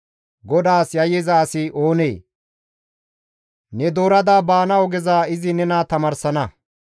GODAAS yayyiza asi oonee? Ne doorada baana ogeza izi nena tamaarsana.